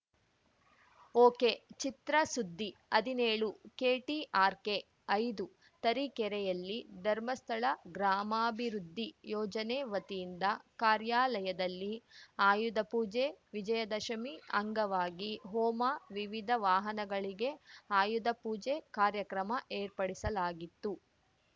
ಒಕೆಚಿತ್ರಸುದ್ದಿ ಹದಿನೇಳುಕೆಟಿಆರ್‌ಕೆಐದು ತರೀಕೆರೆಯಲ್ಲಿ ಧರ್ಮಸ್ಥಳ ಗ್ರಾಮಾಭಿವೃದ್ಧಿ ಯೋಜನೆ ವತಿಯಿಂದ ಕಾರ್ಯಾಲಯದಲ್ಲಿ ಆಯುಧಪೂಜೆ ವಿಜಯದಶಮಿ ಅಂಗವಾಗಿ ಹೋಮ ವಿವಿಧ ವಾಹನಗಳಿಗೆ ಆಯುಧಪೂಜೆ ಕಾರ್ಯಕ್ರಮ ಏರ್ಪಡಿಸಲಾಗಿತ್ತು